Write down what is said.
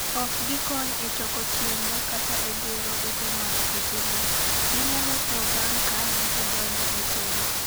Ok gikony e choko chiemo kata e gero ute mag kutego. Ginyalo tho bang' ka gisedonjo e kend